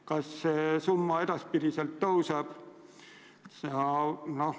Kas see summa edaspidi kasvab?